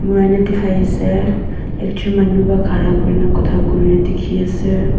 dikhaiase ekjon manu pa khara kurina khota kuri dikhiase.